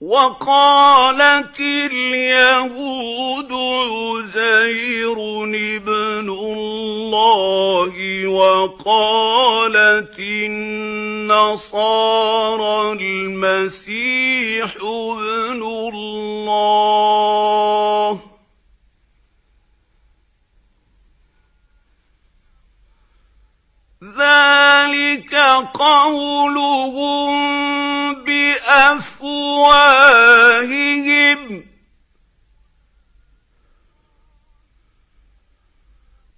وَقَالَتِ الْيَهُودُ عُزَيْرٌ ابْنُ اللَّهِ وَقَالَتِ النَّصَارَى الْمَسِيحُ ابْنُ اللَّهِ ۖ ذَٰلِكَ قَوْلُهُم بِأَفْوَاهِهِمْ ۖ